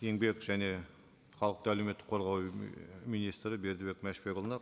еңбек және халықты әлеуметтік қорғау і министрі бердібек мәшбекұлына